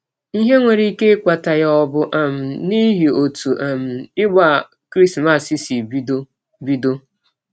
Ihe nwere ike ịkpata ya ọ̀ bụ um n’ihi ọtụ um ịgba Krismas sị bidọ? bidọ?